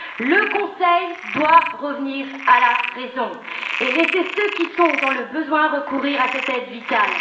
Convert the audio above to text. Le Conseil doit revenir à la raison et laisser ceux qui sont dans le besoin recourir à cette aide vitale.